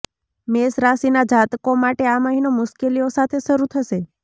મેષ રાશિના જાતકો માટે આ મહિનો મુશ્કેલીઓ સાથે શરુ થશે